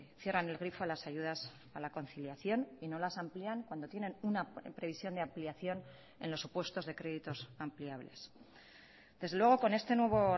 cierran el grifo a las ayudas a la conciliación y no las amplían cuando tienen una previsión de ampliación en los supuestos de créditos ampliables desde luego con este nuevo